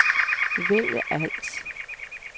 vælg alt